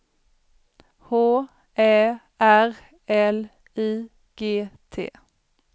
H Ä R L I G T